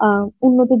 অ্যাঁ